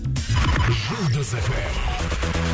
жұлдыз эф эм